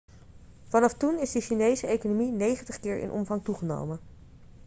vanaf toen is de chinese economie 90 keer in omvang toegenomen